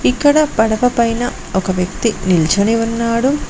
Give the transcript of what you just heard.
ఇక్కడ పడవ పైన ఒక వ్యక్తి నిల్చొని ఉన్నాడు.